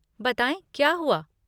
बताएँ, क्या हुआ?